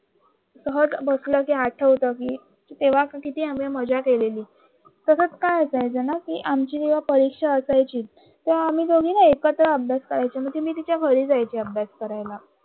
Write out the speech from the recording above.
सहज बसल कि आठवण येत ते तेव्हा किती आम्ही केलेल तसच काय असायचं न कि आमची परीक्षा असायची आम्ही दोघे एकत्र अभ्यास करायचे म्हणजे मी तिच्या घरी जायचं अभ्यास करायला